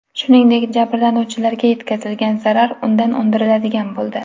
Shuningdek, jabrlanuvchilarga yetkazilgan zarar undan undiriladigan bo‘ldi.